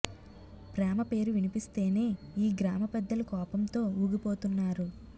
ప్రేమ పేరు విన్పిస్తేనే ఈ గ్రామ పెద్దలు కోపంతో ఊగిపోతున్నారు